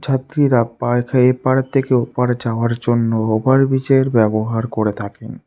যাত্রীরা এপার থেকে ওপারে যাওয়ার জন্য ওভারব্রিজের ব্যবহার করে থাকেন।